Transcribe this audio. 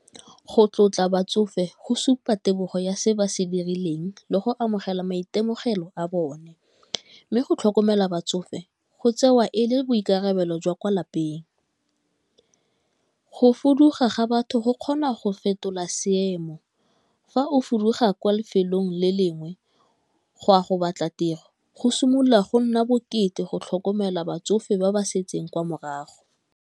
Go tlotla batsofe go supa tebego ya se ba se dirileng le go amogela maitemogelo a bone, mme go tlhokomela batsofe go tsewa e le boikarabelo jwa kwa lapeng. Go fuduga ga batho go kgona go fetola seemo, fa o fuduga kwa lefelong le lengwe go a go batla tiro go simolola go nna bokete go tlhokomela batsofe ba ba setseng kwa morago.